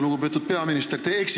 Lugupeetud peaminister!